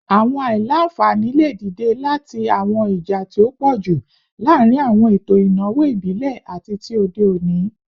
Awọn aila-nfani le dide lati awọn ija ti o pọju laarin awọn eto inawo ibile ati ti ode oni